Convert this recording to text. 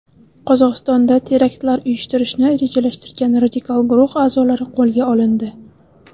Qozog‘istonda teraktlar uyushtirishni rejalashtirgan radikal guruh a’zolari qo‘lga olindi.